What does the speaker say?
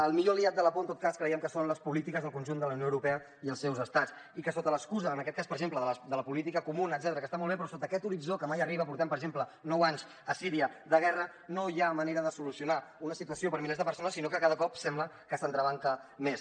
el millor aliat de la por en tot cas creiem que són les polítiques del conjunt de la unió europea i els seus estats i que sota l’excusa en aquest cas per exemple de la política comuna etcètera que està molt bé però sota aquest horitzó que mai arriba portem per exemple nou anys a síria de guerra no hi ha manera de solucionar una situació per a milers de persones sinó que cada cop sembla que s’entrebanca més